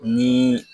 Ni